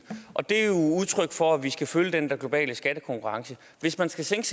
og det er jo udtryk for at vi skal følge den der globale skattekonkurrence hvis man skal sænke